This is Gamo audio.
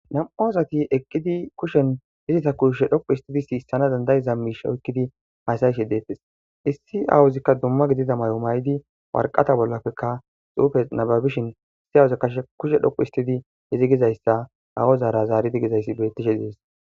Nam'u asati eqqidi kushen izita kurshe dhoqu istidisi issana dandayiza miisha oykkidi haysayshi deettes issi awuzikka dumma gidida may'o may'di warqata bollafeka xuufe nababishin issi awuza kashe kushe dhoqu istidi hizigizayssa awo zaara zaaridi gizayssi bettishe dees.